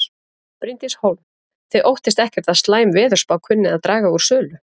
Bryndís Hólm: Þið óttist ekkert að slæm veðurspá kunni að draga úr sölu?